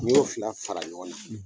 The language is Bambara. N y'o fila fara ɲɔgɔn na.